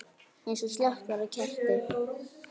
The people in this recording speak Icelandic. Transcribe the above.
Eins og slökkt væri á kerti.